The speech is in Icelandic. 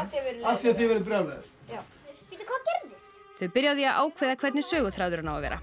af því þið verðið brjálaðir já bíddu hvað gerðist þau byrja á því að ákveða hvernig söguþráðurinn á að vera